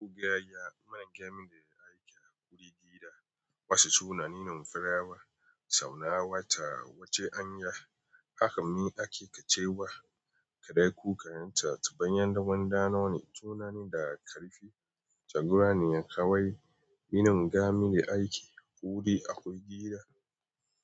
Kga ya man game da yadda ake kiran kudi aiki a gida, wasu tunani na farawa, saura wa ta kuce anya. Haka ne ake ta cewa kaɗai ku kan ta ta bayan daman ɗanoni. Tunane daga ƙarfi, tagura ne kawai. Rinin gamili aiki, kuri akwai gida.